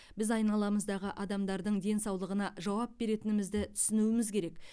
біз айналамыздағы адамдардың денсаулығына жауап беретінімізді түсінуіміз керек